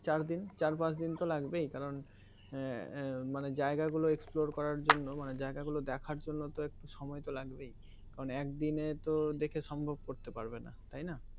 চার দিন চার পাঁচ দিন তো লাগবেই কারণ এর মানে জায়গা গুলো explore করার জন্য মানে জায়গা গুলো দেখার জন্য তো একটু সময় তো লাগবেই কারণ একদিনে তো দেখে সম্ভব করতে পারবে না তাইনা